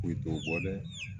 Foyi t'o bɔ de